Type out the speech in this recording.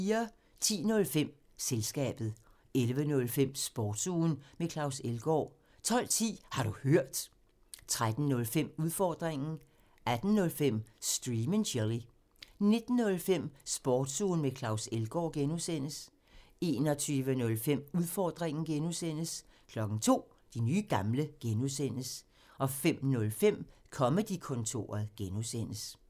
10:05: Selskabet 11:05: Sportsugen med Claus Elgaard 12:10: Har du hørt? 13:05: Udfordringen 18:05: Stream and chill 19:05: Sportsugen med Claus Elgaard (G) 21:05: Udfordringen (G) 02:00: De nye gamle (G) 05:05: Comedy-kontoret (G)